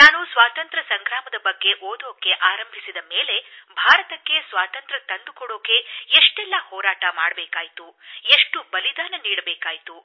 ನಾನು ಸ್ವಾತಂತ್ರ್ಯ ಸಂಗ್ರಾಮದ ಬಗ್ಗೆ ಓದಲು ಆರಂಭಿಸಿದ ತರುವಾಯ ಭಾರತಕ್ಕೆ ಸಾತಂತ್ರ್ಯ ತಂದುಕೊಡಲು ಎಷ್ಟೆಲ್ಲ ಹೋರಾಟ ಮಾಡಬೇಕಾಯಿತು ಎಷ್ಟು ಬಲಿದಾನ ವಾಗಬೇಕಾಯಿತು